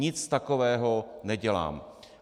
Nic takového nedělám.